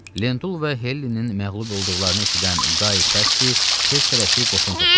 Lentul və Hellinin məğlub olduqlarını eşidən Qay Kassi tez-tələsik qoşun topladı.